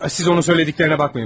Siz onun dediklərinə baxmayın cənab.